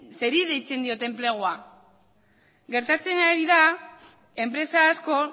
zeri deitzen diote enplegua gertatzen ari da enpresa asko